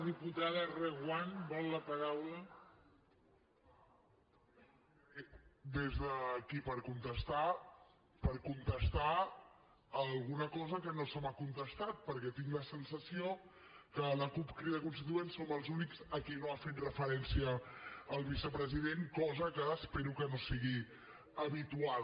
des d’aquí per contestar per contestar alguna cosa que no se m’ha contestat perquè tinc la sensació que la cup crida constituent som els únics a qui no ha fet referència el vicepresident cosa que espero que no sigui habitual